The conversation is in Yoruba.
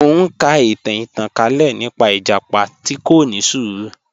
Mọ̀ n ká ìtàn ìtànkalẹ̀ nípa ìjàpá tó kò ni ṣúrù